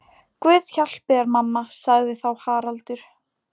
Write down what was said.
Guð hjálpi þér mamma, sagði þá Haraldur.